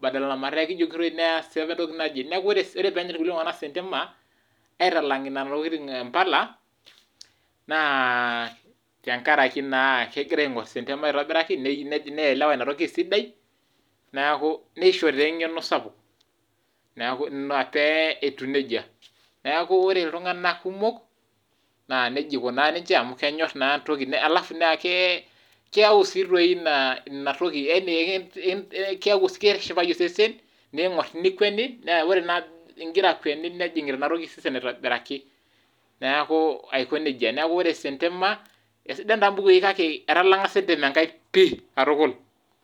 badala mataa ekijokitoi neesa entoki naje, niaku wore peenyorr kulie tunganak sentemani aitalang nena tokiting oompala , naa tengaraki naa egira aingorr sentemani aitobiraki , neelewa ina toki esidai ,niaku nishoo taa engeno sapuk. niaku inaa pee etiu nejia , nieku wore iltunganak kumuk naa nejia ikunaa ninje amu kenyorr naa entoki, alfu naa keyau sii doi inatoki, yaani eki shipayu osesen , niingorr, nikweni naa wore naa ingira akweni nejingita inatoki osesen aitobiraki niaku aikonejia. Niaku wore sentema, aisidan taa mpukui pii kake etalanga sentemani ngulie pii.